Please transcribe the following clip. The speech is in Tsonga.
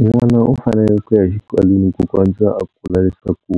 N'wana u fanele ku ya xikalwini ku kondza a kula leswaku